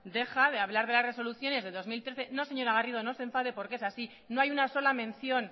deja de hablar de las resoluciones del dos mil trece no señora garrido no se enfade porque es así no hay una sola mención